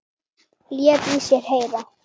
Lét í sér heyra.